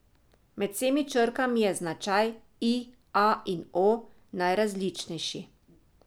Med vsemi črkami je značaj I, A in O najrazličnejši.